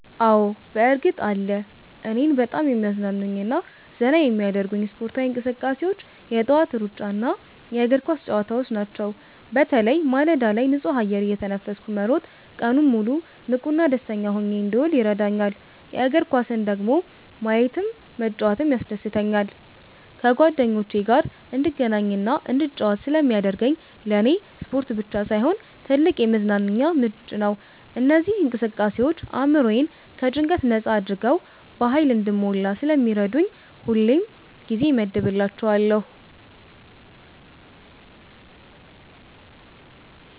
አዎ፣ በእርግጥ አለ! እኔን በጣም የሚያዝናኑኝና ዘና የሚያደርጉኝ ስፖርታዊ እንቅስቃሴዎች የጠዋት ሩጫና የእግር ኳስ ጨዋታዎች ናቸው። በተለይ ማለዳ ላይ ንጹህ አየር እየተነፈስኩ መሮጥ ቀኑን ሙሉ ንቁና ደስተኛ ሆኜ እንድውል ይረዳኛል። የእግር ኳስን ደግሞ ማየትም መጫወትም ያስደስተኛል። ከጓደኞቼ ጋር እንድገናኝና እንድጫወት ስለሚያደርገኝ ለኔ ስፖርት ብቻ ሳይሆን ትልቅ የመዝናኛ ምንጭ ነው። እነዚህ እንቅስቃሴዎች አእምሮዬን ከጭንቀት ነጻ አድርገው በሃይል እንድሞላ ስለሚረዱኝ ሁሌም ጊዜ እመድብላቸዋለሁ።